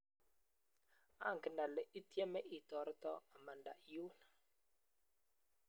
ongen ale itieme itoretoo amanda eng yun